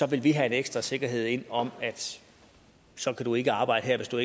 vil vi have en ekstra sikkerhed ind om at så kan du ikke arbejde her hvis du